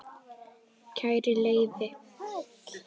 Kæri Leifi